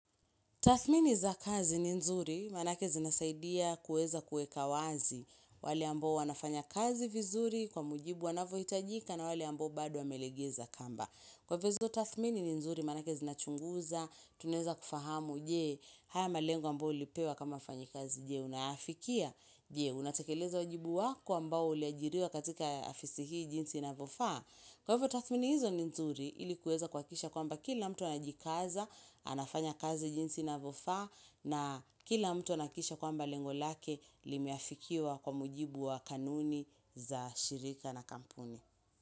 Tathmini za kazi ni nzuri manake zinasaidia kuweza kueka wazi. Wale ambao wanafanya kazi vizuri kwa mujibu wanavyo hitajika na wale ambao bado wamelegeza kamba. Kwaivo hizo tathmini ni nzuri manake zinachunguza, tunaeza kufahamu, je, haya malengo ambayo ulipewa kama mfanyikazi, je, unayafikia, je, unatekeleza wajibu wako ambao uliajiriwa katika afisi hii jinsi inavofaa. Kwa hivyo tathmini hizo ni nzuri ili kuweza kuhakikisha kwamba kila mtu anajikaza, anafanya kazi jinsi inavofaa na kila mtu anahakikisha kwamba lengo lake limeafikiwa kwa mujibu wa kanuni za shirika na kampuni.